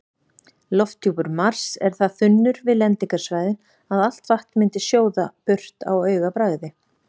Lofthjúpur Mars er það þunnur við lendingarsvæðin að allt vatn myndi sjóða burt á augabragði.